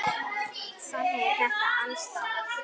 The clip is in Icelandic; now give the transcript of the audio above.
Þannig er þetta alls staðar.